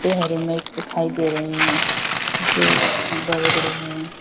ये हरे मिर्च दिखाई दे रहे हैं जो बड़े बड़े हैं।